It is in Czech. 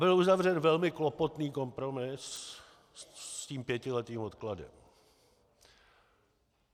Byl uzavřen velmi klopotný kompromis s tím pětiletým odkladem.